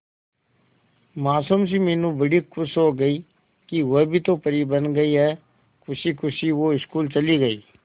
मासूम सी मीनू बड़ी खुश हो गई कि वह भी तो परी बन गई है खुशी खुशी वो स्कूल चली गई